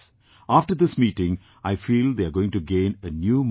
After this meeting, I feel they are going to gain a new momentum